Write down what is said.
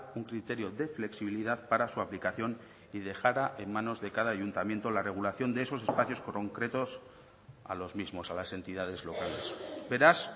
un criterio de flexibilidad para su aplicación y dejara en manos de cada ayuntamiento la regulación de esos espacios concretos a los mismos a las entidades locales beraz